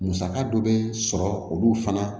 Musaka dɔ bɛ sɔrɔ olu fana